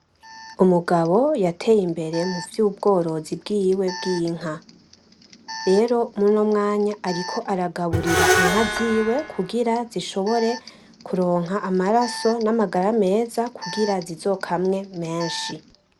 Umugabo yateye imbere muvy'ubworozi bwiwe bw'inka rero muri uno mwanya ariko aragaburira Inka ziwe kugira zishobore kuronka amaraso n'amagara meza kugira zizokmwe menshi.